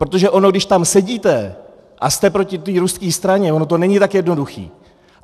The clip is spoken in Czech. Protože ono když tam sedíte a jste proti té ruské straně, ono to není tak jednoduché.